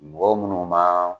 Mɔgɔ munnu ma